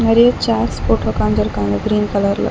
நெறைய சேர்ஸ் போட்டு உக்காந்துருக்காங்க கிரீன் கலர்ல .